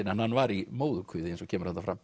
en hann var í móðurkviði eins og kemur þarna fram